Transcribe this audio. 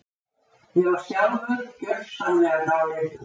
Ég var sjálfur gjörsamlega dáleiddur.